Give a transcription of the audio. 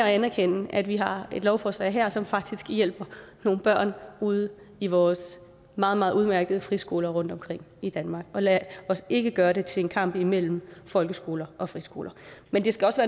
anerkender at vi har et lovforslag her som faktisk hjælper nogle børn ude i vores meget meget udmærkede friskoler rundtomkring i danmark lad os ikke gøre det til en kamp imellem folkeskoler og friskoler men det skal også